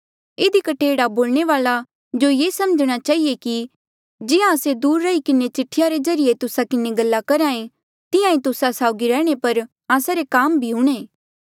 इधी कठे एह्ड़ा बोलणे वाले जो ये समझणा चहिए कि जिहां आस्से दूर रही किन्हें चिठिया रे ज्रीए तुस्सा किन्हें गल्ला करहा ऐें तिहां ईं तुस्सा साउगी रहणे पर आस्सा रे काम भी हूंणे